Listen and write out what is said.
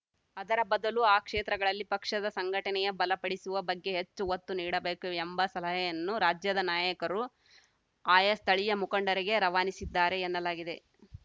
ಅದರ ಬದಲು ಆ ಕ್ಷೇತ್ರಗಳಲ್ಲಿ ಪಕ್ಷದ ಸಂಘಟನೆಯ ಬಲಪಡಿಸುವ ಬಗ್ಗೆ ಹೆಚ್ಚು ಒತ್ತು ನೀಡಬೇಕು ಎಂಬ ಸಲಹೆಯನ್ನು ರಾಜ್ಯದ ನಾಯಕರು ಆಯಾ ಸ್ಥಳೀಯ ಮುಖಂಡರಿಗೆ ರವಾನಿಸಿದ್ದಾರೆ ಎನ್ನಲಾಗಿದೆ